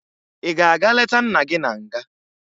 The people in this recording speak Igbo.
Ị ga-aga leta nna gị na nga?